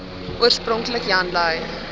oorspronklik jan lui